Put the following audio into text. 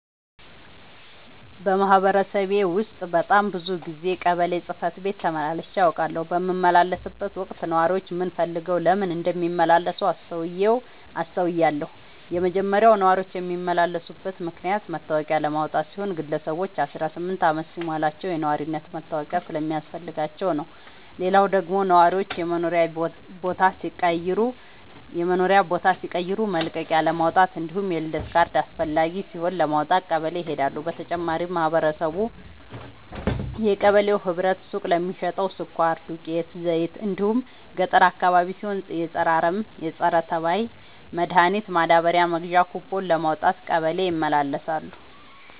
በማህበረሰቤ ውስጥ በጣም ብዙ ጊዜ ቀበሌ ጽህፈት ቤት ተመላልሼ አውቃለሁ። በምመላለስበትም ወቅት ነዋሪዎች ምን ፈልገው ለምን እንደሚመላለሱ አስተውያለሁ የመጀመሪያው ነዋሪዎች የሚመላለሱበት ምክንያት መታወቂያ ለማውጣት ሲሆን ግለሰቦች አስራስምንት አመት ሲሞላቸው የነዋሪነት መታወቂያ ስለሚያስፈልጋቸው ነው። ሌላው ደግሞ ነዋሪዎች የመኖሪያ ቦታ ሲቀይሩ መልቀቂያለማውጣት እንዲሁም የልደት ካርድ አስፈላጊ ሲሆን ለማውጣት ቀበሌ ይሄዳሉ። በተጨማሪም ማህበረቡ የቀበሌው ህብረት ሱቅ ለሚሸተው ስኳር፣ ዱቄት፣ ዘይት እንዲሁም ገጠር አካባቢ ሲሆን የፀረ አረም፣ ፀረተባይ መድሀኒት ማዳበሪያ መግዣ ኩቦን ለማውጣት ቀበሌ ይመላለሳሉ።